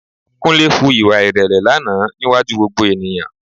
Kúnlé hu ìwà ìrẹ̀lẹ̀ lánàá níwájú gbogbo ènìyàn